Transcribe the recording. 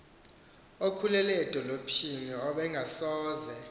okhulele edolophini ebengasoze